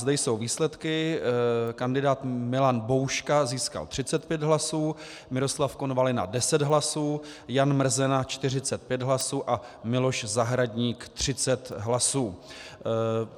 Zde jsou výsledky: kandidát Milan Bouška získal 35 hlasů, Miroslav Konvalina 10 hlasů, Jan Mrzena 45 hlasů a Miloš Zahradník 30 hlasů.